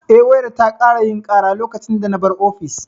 Eh, wayar ta ƙara yin ƙara lokacin da na bar ofis.